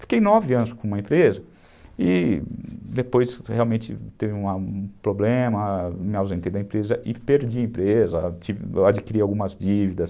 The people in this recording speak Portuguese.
Fiquei nove anos com uma empresa e depois realmente teve um problema, me ausentei da empresa e perdi a empresa, adquiri algumas dívidas.